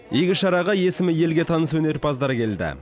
игі шараға есімі елге таныс өнерпаздар келді